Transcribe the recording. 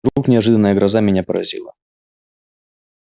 вдруг неожиданная гроза меня поразила